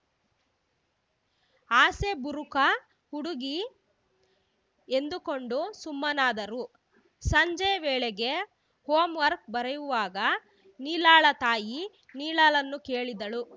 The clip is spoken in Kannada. ಆಸೆಬುರುಕ ಹುಡುಗಿ ಎಂದುಕೊಂಡು ಸುಮ್ಮನಾದರು ಸಂಜೆ ವೇಳೆಗೆ ಹೋಮ್‌ ವರ್ಕ್ ಬರೆಯುವಾಗ ನೀಲಾಳ ತಾಯಿ ನೀಲಳನ್ನು ಕೇಳಿದರು